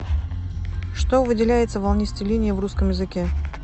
что выделяется волнистой линией в русском языке